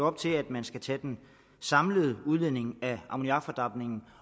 op til at man skal tage den samlede udledning af ammoniakfordampningen